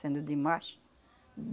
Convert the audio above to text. Sendo demais.